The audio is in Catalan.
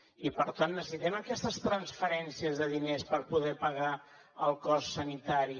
i per tant necessitem aquestes transferències de diners per poder pagar el cost sanitari